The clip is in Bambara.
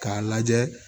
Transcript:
K'a lajɛ